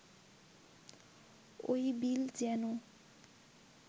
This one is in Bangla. ওই বিল যেন